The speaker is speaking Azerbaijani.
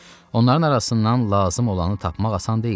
Onların arasından lazım olanı tapmaq asan deyildi.